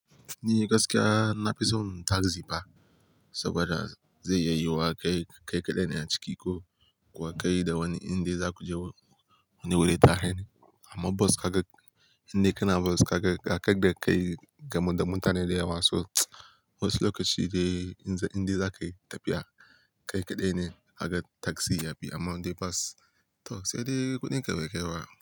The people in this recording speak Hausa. Ni gaskiya na fi son taxi fa, saboda zai yi yiwuwa ka kai kaɗai ne a ciki ko kuwa ka yi da wani indai za ku je wani wuri tare. Amma bus ka ga inda kana bus ka ga ka kai da kai da mutane da yawa. So wasu lokaci indai za ka yi tafiya kai kaɗai ne kaga taxi yafi. Amma in dai bas to sai dai kuɗin ka be kai ba.